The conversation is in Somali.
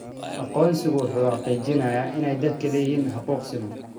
Aqoonsigu wuxuu xaqiijinayaa in dadku ay leeyihiin xuquuq siman.